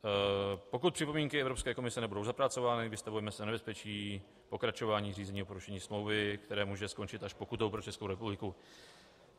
Pokud připomínky Evropské komise nebudou zapracovány, vystavujeme se nebezpečí pokračování řízení o porušení smlouvy, které může skončit až pokutou pro Českou republiku.